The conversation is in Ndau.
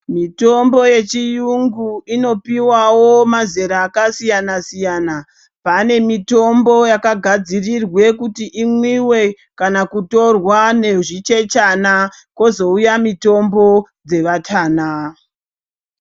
Tombo yechiyungu inopiwawo mazera akasiyana siyana pane mitombo yakagadzirirwe kuti imwiwe kana kutorwa nezvichechana kwozouya mutombo dzevatana.